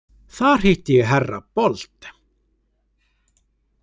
Þar hitti ég herra Bold.